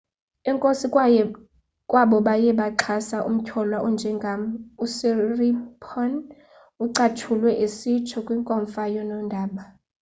enkosi kwabo baye baxhasa umtyholwa onjengam usiripon ucatshulwe esitsho kwinkomfa yonondaba